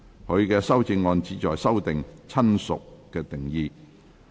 他的修正案旨在修訂"親屬"的定義。